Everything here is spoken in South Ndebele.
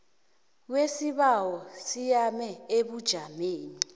kwesibawo siyame ebujameni